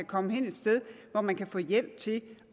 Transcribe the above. komme hen et sted hvor man kan få hjælp til